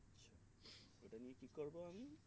এটা নিয়ে কি করবো আমি